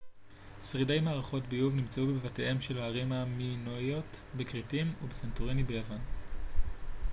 שרידי מערכות ביוב נמצאו בבתיהם של הערים המינואיות בכרתים ובסנטוריני ביוון